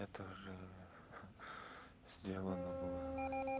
это же сделано было